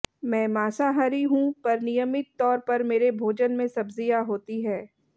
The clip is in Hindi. मैं मांसाहरी हूं पर नियमित तौर पर मेरे भोजन में सब्जियां होती है